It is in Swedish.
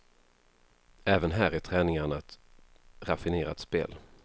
Även här är träningarna ett raffinerat spel.